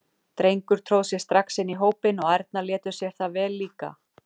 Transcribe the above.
Drengur tróð sér strax inn í hópinn og ærnar létu sér það vel líka.